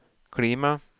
klima